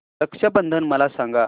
रक्षा बंधन मला सांगा